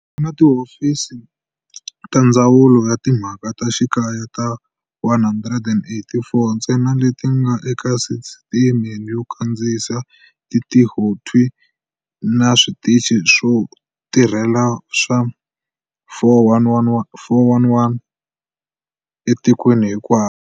Ku na tihofisi ta Ndzawulo ya Timhaka ta Xikaya ta 184 ntsena leti nga eka sisiteme yo kandziyisa tintihothwi na switichi swo tirhela swa 411 etikweni hinkwaro.